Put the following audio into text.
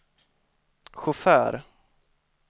chaufför